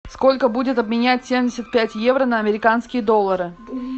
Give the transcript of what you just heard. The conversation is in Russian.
сколько будет обменять семьдесят пять евро на американские доллары